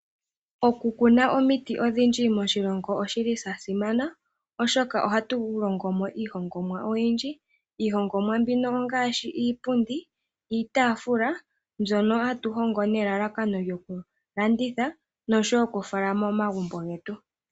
Oku kuna omiti odhindji moshilongo oshili shasimana oshoka ohatu hongomo iihongomwa oyindji, iihongomwa mbino ongaashi iipundi, iitafula mbyono hatu hongo nelalakano lyokulanditha noshowo okufala momagumbo getu.